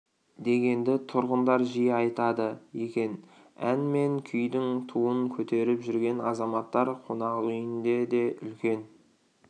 дегенді тұрғындар жиі айтады екен ән мен күйдің туын көтеріп жүрген азаматтар қонақүйінде де үлкен